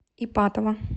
ипатово